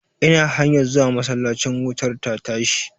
Ina hanyar zuwa masallacin wutar ta tashi.